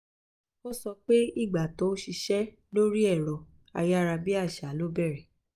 ó sọ pé ìgbà tó ń ṣiṣẹ́ lórí ẹ̀rọ ayárabíàṣá ló bẹ̀rẹ̀